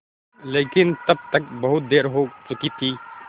लेकिन तब तक बहुत देर हो चुकी थी